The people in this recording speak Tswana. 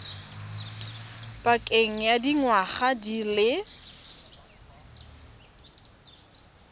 pakeng ya dingwaga di le